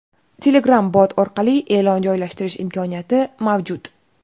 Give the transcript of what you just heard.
Telegram Bot orqali e’lon joylashtirish imkoniyati mavjud.